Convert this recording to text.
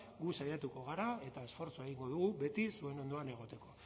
gu saiatuko gara eta esfortzua egingo dugu beti zuen ondoan egoteko